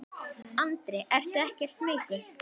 Andri: Ertu ekkert smeykur?